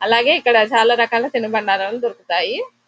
అలాగే ఇక్కడ చాలా రకాల తినుబండారాలు దొరుకుతాయి.